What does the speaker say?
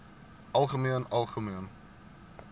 algemeen algemeen